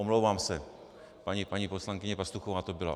Omlouvám se, paní poslankyně Pastuchová to byla.